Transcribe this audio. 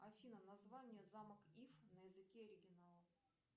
афина название замок ив на языке оригинала